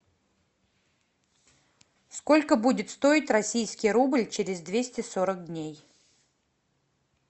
сколько будет стоить российский рубль через двести сорок дней